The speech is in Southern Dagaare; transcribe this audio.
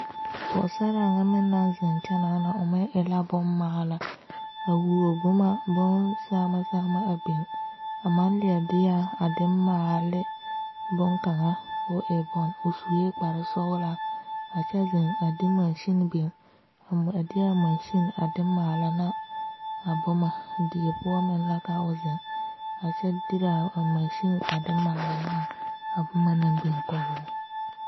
Pɔgesera nyɛ meŋ naŋ zeŋ kyɛ naana o meŋ e la boŋ maale a wuo boma boŋ sama sama a biŋ a maŋ leɛ dea a maale ne boŋ kaŋa ko'o e boŋ o suɛ kparo sɔglaa a kyɛ zeŋ a de mansene biŋ a nm a dea mansene a de maale ne a boma die poɔ meŋ la ka o zeŋ a kyɛ dera mansene a de manna ne a boma naŋ biŋ kɔŋ o.